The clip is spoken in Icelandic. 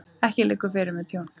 Ekki liggur fyrir með tjón